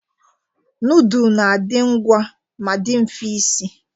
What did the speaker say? Nudul na-adị ngwa ma dị mfe isi.